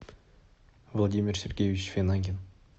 владимир сергеевич финагин